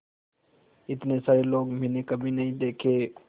इतने सारे लोग मैंने कभी नहीं देखे थे